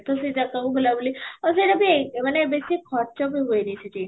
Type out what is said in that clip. ତ ସେଇ ଜାଗା କୁ ବୁଲା ବୁଲି ଆଉ ସେଇଟା ବି ମାନେ ବେଶି ଖର୍ଚ୍ଚ ବି ହୁଏନି ସେଠି